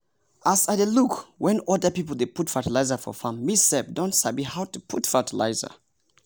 as i dey look when other people dey put fertilizer for farm me sef don sabi how to put fertilizer.